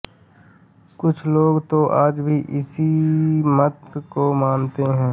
कुछ लोग तो आज भी इसी मत को मानते हैं